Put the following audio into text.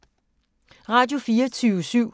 Radio24syv